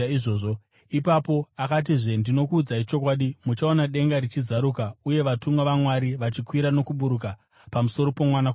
Ipapo akatizve, “Ndinokuudzai chokwadi, muchaona denga richizaruka, uye vatumwa vaMwari vachikwira nokuburuka pamusoro poMwanakomana woMunhu.”